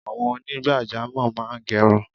Àwọn onigbajamo máa ń gerun